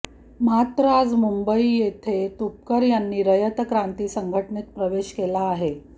मात्र आज मुंबई येथे तुपकर यांनी रयत क्रांती संघटनेत प्रवेश केला आहे